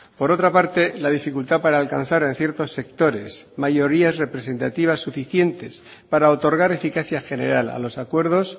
por otra parte la dificultad para alcanzar en ciertos sectores mayorías representativas suficientes para otorgar eficacia general a los acuerdos